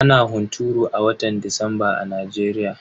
Ana hunturu a watan disamba a Najeriya.